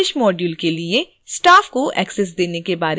superlibrarian बनाना और